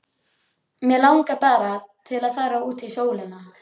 Mig langar bara til að fara út í sólina.